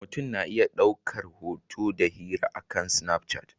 Mutum na iya ɗaukar hoto da hira akan Snapchat.